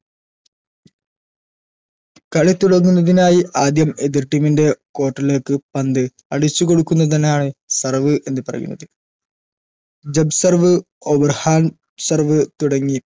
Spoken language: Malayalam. കളി തുടങ്ങുന്നതിനായി ആദ്യം എതിർ team ൻറെ court ലേക്ക് പന്ത് അടിച്ച് കൊടുക്കുന്നതിനാണ് serve എന്ന് പറയുന്നത് jumb serve overhand serve തുടങ്ങി